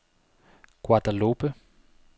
Guadeloupe